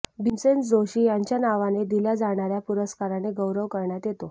भीमसेन जोशी यांच्या नावाने दिल्या जाणाऱ्या पुरस्काराने गौैरव करण्यात येतो